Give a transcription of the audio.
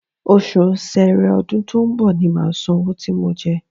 Oṣù ṣẹrẹ ọdún tó ń bọ̀ ni màá san owó tí mo jẹ ẹ́